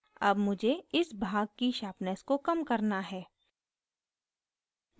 अब मुझे इस भाग की sharpness को कम करना है